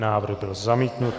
Návrh byl zamítnut.